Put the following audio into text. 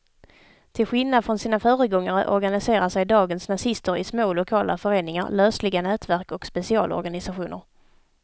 Till skillnad från sina föregångare organiserar sig dagens nazister i små lokala föreningar, lösliga nätverk och specialorganisationer.